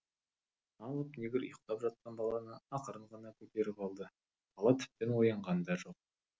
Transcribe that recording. алып негр ұйықтап жатқан баланы ақырын ғана көтеріп алды бала тіптен оянған да жоқ